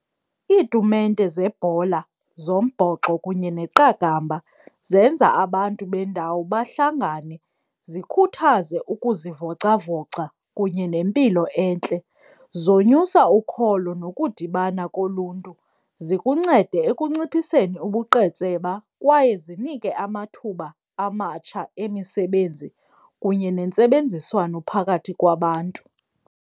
Iitumente zebhola zombhoxo kunye neqakamba zenza abantu bendawo bahlangane, zikhuthaze ukuzivocavoca kunye nempilo entle, zonyusa ukholo nokudibana koluntu. Zikuncede ekunciphiseni ubuqetseba kwaye zinike amathuba amatsha emisebenzi kunye nentsebenziswano phakathi kwabantu.